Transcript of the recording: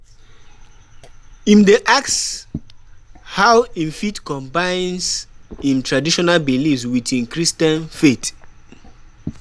Im dey ask how im fit combines im traditional beliefs wit im Christian faith.